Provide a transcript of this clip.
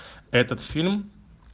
этот фильм